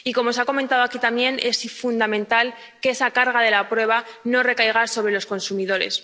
Y, como se ha comentado aquí también, es fundamental que esa carga de la prueba no recaiga sobre los consumidores.